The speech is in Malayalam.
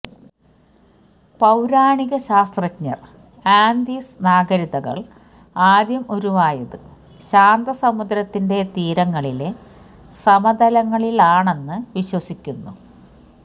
പൌരാണികശാസ്ത്രജ്ഞർ ആന്തീസ് നാഗരികതകൾ ആദ്യം ഉരുവായത് ശാന്തസമുദ്രത്തിന്റെ തീരങ്ങളിലെ സമതലങ്ങളിലാണെന്ന് വിശ്വസിക്കുന്നു